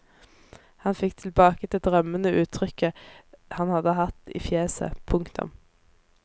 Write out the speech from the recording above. Han fikk tilbake det drømmende uttrykket han hadde hatt i fjeset. punktum